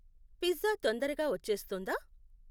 Pizza తొందరగా వచ్చేస్తుందా?